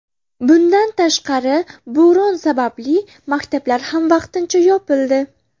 Bundan tashqari, bo‘ron sababli maktablar ham vaqtincha yopildi.